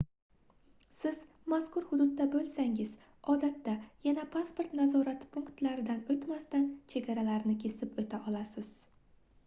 siz mazkur hududda boʻlsangiz odatda yana pasport nazorati punktlaridan oʻtmasdan chegaralarni kesib oʻta olasiz